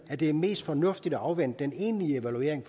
at det er mest fornuftigt at afvente den egentlige evaluering